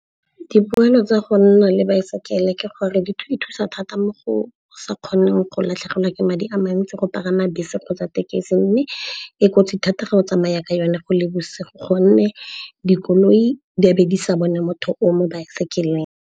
Dipoelo tsa go nna le baesekele ke gore e thusa thata mo go sa kgoneng go latlhegelwa ke madi a mantsi go pagama bese kgotsa thekisi. Mme e kotsi thata ga go tsamaya ka yone go le bosigo gonne dikoloi di a be di sa bone motho o mo baesekeleng.